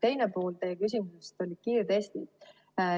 Teine pool teie küsimusest oli kiirtestid.